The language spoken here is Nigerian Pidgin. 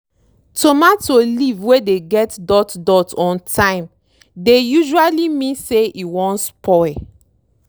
tomato leave wey dey get dot dot on time dey usually mean say e wan spoil.